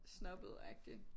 Snobbet agtig